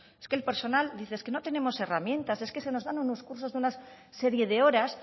es que el personal dice es que no tenemos herramientas es que se nos dan unos cursos de una serie de horas